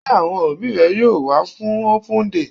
Sé àwọn òbí rẹ yóò wá fún open day?